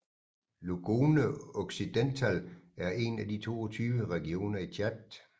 Logone Occidental er en af de 22 regioner i Tchad